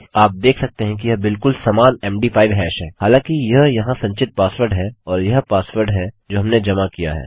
आप देख सकते हैं कि यह बिलकुल समान मद5 हैश हैं हालाँकि यह यहाँ संचित पासवर्ड है और यह पासवर्ड है जो हमने जमा किया है